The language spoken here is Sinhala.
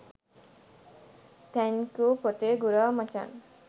තැන්කූ පොතේ ගුරා මචන්